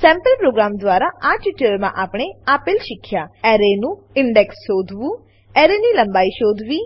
sample program દ્વારા આ ટ્યુટોરીયલમાં આપણે આપેલ શીખ્યા એરેનું ઇન્ડેક્સ શોધવું એરેની લંબાઈ શોધવી